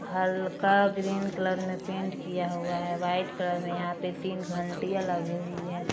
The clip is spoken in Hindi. हल्का ग्रीन कलर में पेंट किया हुवा है वाइट कलर में यहा पे तीन घंटिया लगी हुवी है।